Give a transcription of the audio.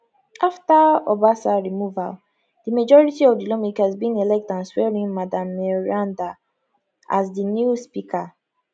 afta obasa removal di majority of di lawmakers bin elect and swearin madam meranda as di new speaker